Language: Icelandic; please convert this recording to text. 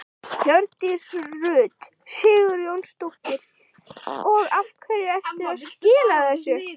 Hjördís Rut Sigurjónsdóttir: Og af hverju ertu að skila þessu?